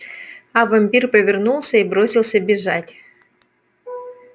а вампир повернулся и бросился бежать